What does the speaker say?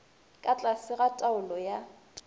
ka tlase ga taolo ya